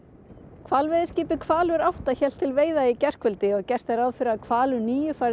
hvalveiðiskipið Hvalur átta hélt til veiða í gærkvöldi og gert er ráð fyrir því að Hvalur níu fari